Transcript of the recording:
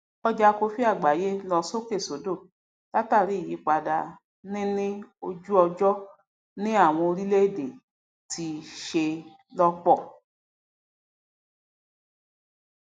ọjà kofí àgbáyé lọ sókèsódò látàríi ìyípadà ní ní ojúọjọ ni àwọn orílẹèdè tí ṣe lọpọ